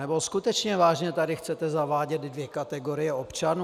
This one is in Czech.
Nebo skutečně vážně tady chcete zavádět dvě kategorie občanů?